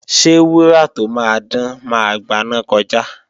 Ṣé wúrà tó máa dán máa gbaná kọjá?